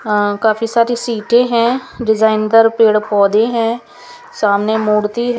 हां काफी सारी सीटे है डिज़ाइन पे पेड़ पौधे है सामने मूर्ति--